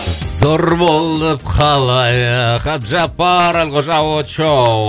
зор болып қалайық әбдіжаппар әлқожа очоу